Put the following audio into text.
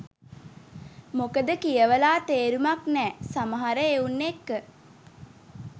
මොකද කියවලා තේරුමක් නෑ සමහර එවුන් එක්ක.